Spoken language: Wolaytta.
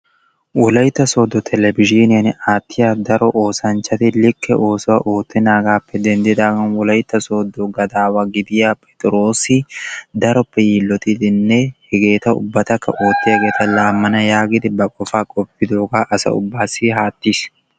wolaytta Soodo Telebizhiiniyan aattiya daro oosanchchati likke oosuwaa oottenaagappe denddidaaga Wolaytta Sooddo gadawa gidiyaa Pixxiroos daroppe yiilotidi hegetaa ubbatakka oottiyaageeta laammana yaagidi ba qofaa qoppidooga asa ubbassi aattiis.